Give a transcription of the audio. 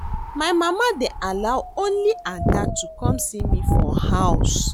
My mama dey allow only Ada to come see me for house